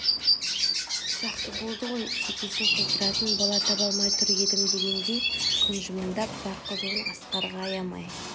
жақсы болды ғой шекесін қыздыратын бала таба алмай тұр едімдегендей күн жымыңдап бар қызуын асқарға аямай